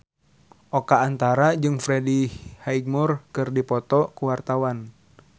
Oka Antara jeung Freddie Highmore keur dipoto ku wartawan